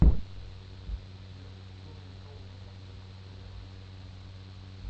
сбер что нарисовано на двух косарях